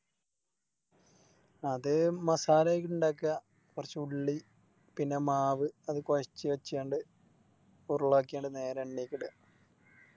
അത് Masala ഒക്കെ ഇണ്ടക്ക കൊർച്ച് ഉള്ളി പിന്നെ മാവ് അത് കോയച്ച് വെച്ചണ്ട് ഉരുളാക്കിണ്ട് നേരെ എണ്ണെക്കിട